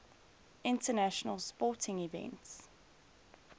international sporting events